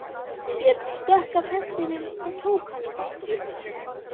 Björn stökk af hestinum og tók hana í fangið.